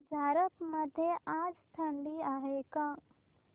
झारप मध्ये आज थंडी आहे का